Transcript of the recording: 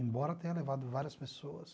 Embora tenha levado várias pessoas...